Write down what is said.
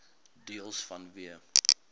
deels vanweë